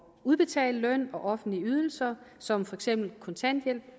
udbetale løn og offentlige ydelser som for eksempel kontanthjælp